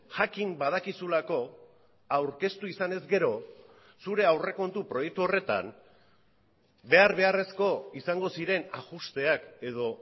jakin badakizulako aurkeztu izanez gero zure aurrekontu proiektu horretan behar beharrezko izango ziren ajusteak edo